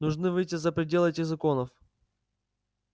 нужно выйти за пределы этих законов